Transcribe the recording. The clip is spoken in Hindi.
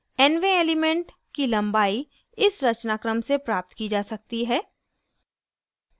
nवें अवयव की लम्बाई इस रचनाक्रम से प्राप्त की जा सकती है: